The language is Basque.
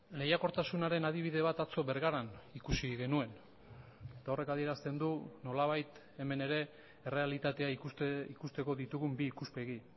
lehiakortasunaren adibide bat atzo bergaran ikusi genuen eta horrek adierazten du nolabait hemen ere errealitatea ikusteko ditugun bi ikuspegi